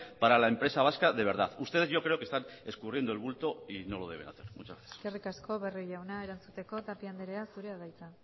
para la empresa vasca de verdad ustedes yo creo que están escurriendo el bulto y no lo deben hacer muchas gracias eskerrik asko barrio jauna erantzuteko tapia andrea zurea da hitza